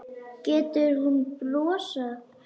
Getur hún brosað?